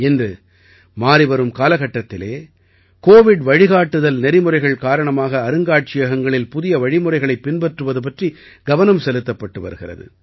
இன்று மாறிவரும் காலகட்டத்திலே கோவிட் வழிகாட்டுதல் நெறிமுறைகள் காரணமாக அருங்காட்சியகங்களில் புதிய வழிமுறைகளைப் பின்பற்றுவது பற்றி கவனம் செலுத்தப்பட்டு வருகிறது